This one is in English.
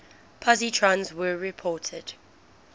positrons were reported